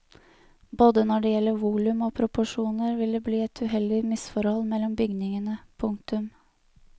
Både når det gjelder volum og proporsjoner vil det bli et uheldig misforhold mellom bygningene. punktum